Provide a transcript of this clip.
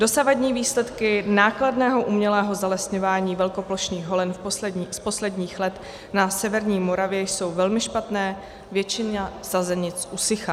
Dosavadní výsledky nákladného umělého zalesňování velkoplošných holin z posledních let na severní Moravě jsou velmi špatné, většina sazenic usychá.